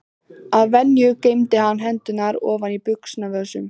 Að venju geymdi hann hendurnar ofan í buxnavösunum.